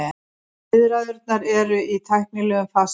Viðræðurnar eru í tæknilegum fasa núna